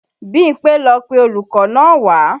Bímpé ló pe olùkọ́ náà wá